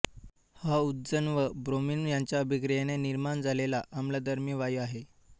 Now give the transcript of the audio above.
हा उदजन व ब्रोमिन यांच्या अभिक्रियेने निर्माण झालेला आम्लधर्मी वायू आहे